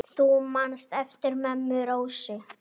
Hallaði aldrei réttu máli.